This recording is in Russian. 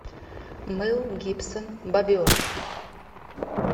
мэл гибсон бобер